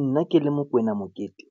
Nna ke le Mokoena Mokete,